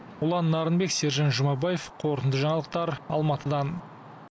ұлан нарынбек сержан жұмабаев қорытынды жаңалықтар алматыдан